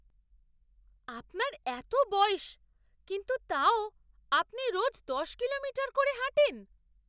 আপনার এতো বয়স, কিন্তু তাও আপনি রোজ দশ কিলোমিটার করে হাঁটেন!